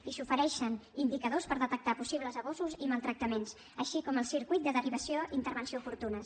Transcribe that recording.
i s’ofereixen indicadors per detectar possibles abusos i maltractaments així com el circuit de derivació i intervenció oportunes